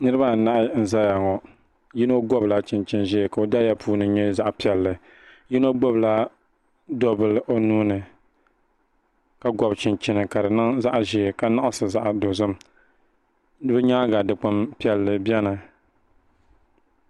niraba anahi n ʒɛya ŋɔ yino gobila chinchin ʒiɛ ka o daliya puuni nyɛ zaɣ piɛlli yino gbubila do bili o nuuni ka gobi chinchini ka di niŋ zaɣ ʒiɛ ka nuɣsi zaɣ dozim o nyaanga Dikpuni piɛlli biɛni